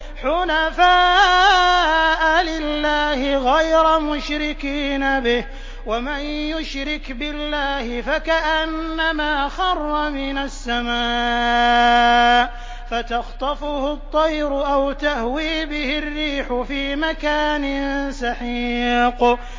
حُنَفَاءَ لِلَّهِ غَيْرَ مُشْرِكِينَ بِهِ ۚ وَمَن يُشْرِكْ بِاللَّهِ فَكَأَنَّمَا خَرَّ مِنَ السَّمَاءِ فَتَخْطَفُهُ الطَّيْرُ أَوْ تَهْوِي بِهِ الرِّيحُ فِي مَكَانٍ سَحِيقٍ